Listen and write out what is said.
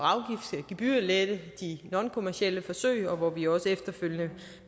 gebyrlette de nonkommercielle forsøg og hvor vi også efterfølgende